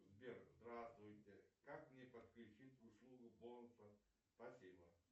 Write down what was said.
сбер здравствуйте как мне подключить услугу бонусов спасибо